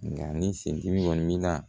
Nka ni sendimi kɔni na